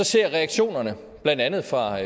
ser reaktionerne blandt andet fra